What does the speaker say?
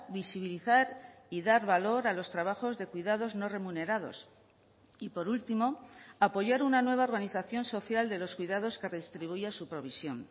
visibilizar y dar valor a los trabajos de cuidados no remunerados y por último apoyar una nueva organización social de los cuidados que redistribuya su provisión